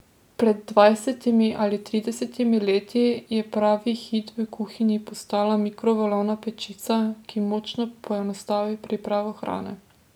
Pred dvajsetimi ali tridesetimi leti je pravi hit v kuhinji postala mikrovalovna pečica, ki močno poenostavi pripravo hrane.